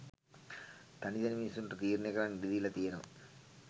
තනි තනි මිනිස්සුන්ට තීරණය කරන්න ඉඩදීල තියෙනව